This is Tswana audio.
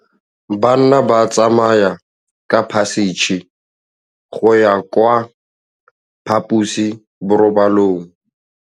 Bana ba tsamaya ka phašitshe go ya kwa phaposiborobalong.